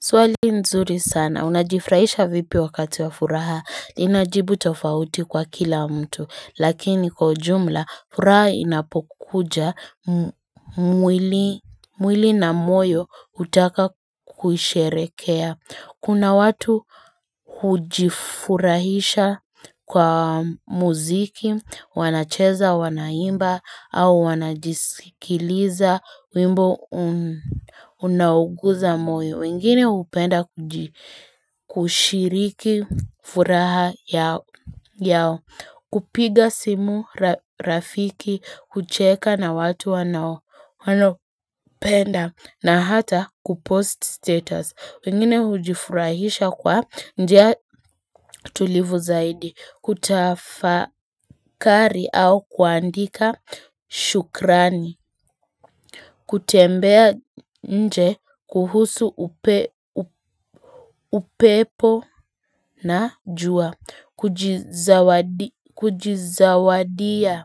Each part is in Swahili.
Swali nzuri sana, unajifurahisha vipi wakati wa furaha, linajibu tofauti kwa kila mtu, lakini kwaujumla, furaha inapokuja mwili na moyo hutaka kusherekea. Kuna watu hujifurahisha kwa muziki, wanacheza, wanaimba, au wanajisikiliza, wimbo unu. Unauguza moyo, wengine hupenda kushiriki furaha yao, kupiga simu, rafiki, kucheka na watu wanao, wanowapenda, na hata kupost status. Wengine hujifurahisha kwa njia tulivu zaidi, kutafakari au kuandika, shukrani. Kutembea inje kuhusu upepo na jua Kujizawadia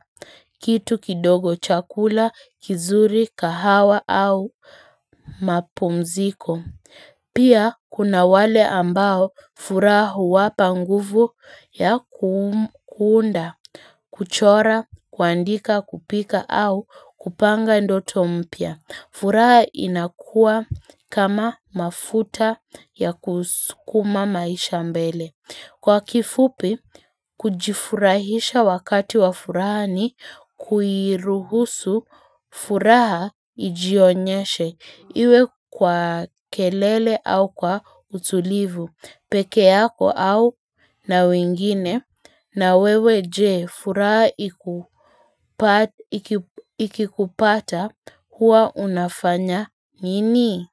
kitu kidogo chakula, kizuri, kahawa au mapumziko Pia kuna wale ambao furaha huwapa nguvu ya kuunda kuchora, kuandika, kupika au kupanga ndoto mpia furaha inakua kama mafuta ya kuskuma maisha mbele. Kwa kifupi, kujifurahisha wakati wa furaha ni kuiruhusu furaha ijionyeshe. Iwe kwa kelele au kwa utulivu, peke yako au na wingine na wewe je furaha ikikupata huwa unafanya nini?